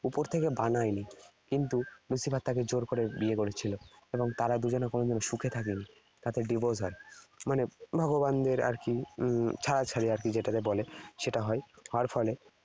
উপর থেকে বানায়নি। কিন্তু Lucifer তাকে জোর করে বিয়ে করেছিল এবং তারা দুজনা কোনদিনও সুখে থাকেনি। তাদের divorce হয়। মানে ভগবানের আর কি ছাড়াছাড়ি আর কি যেটাকে বলে সেটা হয়। হওয়ার ফলে